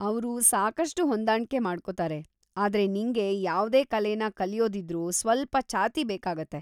ಅವ್ರು ಸಾಕಷ್ಟು ಹೊಂದಾಣ್ಕೆ ಮಾಡ್ಕೊತಾರೆ, ಆದ್ರೆ ನಿಂಗೆ ಯಾವ್ದೇ ಕಲೆನ ಕಲ್ಯೋದಿದ್ರೂ ಸ್ವಲ್ಪ ಛಾತಿ ಬೇಕಾಗತ್ತೆ.